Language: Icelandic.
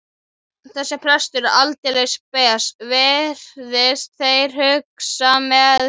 Þessi prestur er aldeilis spes, virðast þeir hugsa með sér.